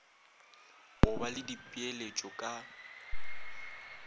go ba le dipeeletšo ka